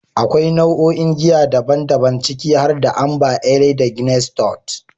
Akwai nau'o'in giya daban-daban, ciki har da "Amber ale da Guinness stout".